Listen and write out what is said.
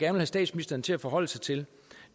have statsministeren til at forholde sig til